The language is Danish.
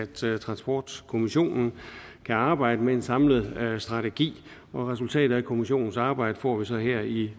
til at transportkommissionen kan arbejde med en samlet strategi og resultatet af kommissionens arbejde får vi så her i